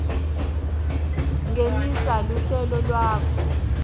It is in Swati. ngenisa luhlelo lwakho